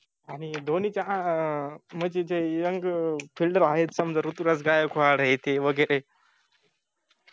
आनि धोनीचा आं अं म्हनजे जे youngfielder आहेत समजा ऋतुराज गायकवाड आहेत ते वगैरे